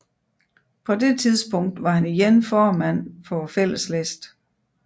På det tidspunkt var han igen formand for Fælleslisten